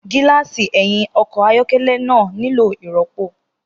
Gíláàsì ẹ̀yìn ọkọ̀ ayọ́kẹ́lẹ́ náà nílò ìrọ́pò.